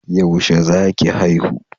Yaushe za ki haihu?